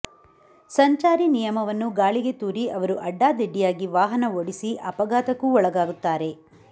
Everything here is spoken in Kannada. ಸಂಚಾರಿ ನಿಯಮವನ್ನು ಗಾಳಿಗೆ ತೂರಿ ಅವರು ಅಡ್ಡಾದಿಡ್ಡಿಯಾಗಿ ವಾಹನ ಓಡಿಸಿ ಅಪಘಾತಕ್ಕೂ ಒಳಗಾಗುತ್ತಾರೆ